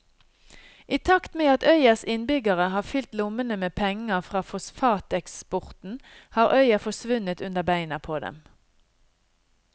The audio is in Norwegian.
I takt med at øyas innbyggere har fylt lommene med penger fra fosfateksporten har øya forsvunnet under beina på dem.